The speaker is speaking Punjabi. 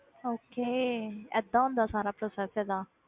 Okay ਏਦਾਂ ਹੁੰਦਾ ਸਾਰਾ process ਇਹਦਾ?